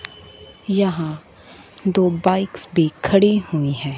यहां दो बाइक्स भी खड़ी हुई हैं।